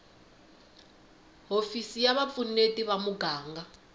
hofisi ya vupfuneti va muganga